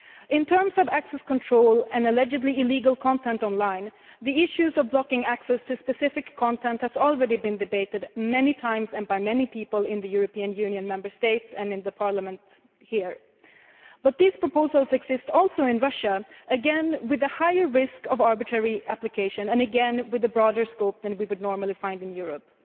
In terms of access control and allegedly illegal content on line, the issue of blocking access to specific content has already been debated many times and by many people in the Member States and here in Parliament, but these proposals also exist in Russia, again with the higher risk of arbitrary application and again with a broader scope than we would normally find in Europe.